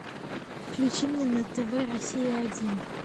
включи мне на тв россия один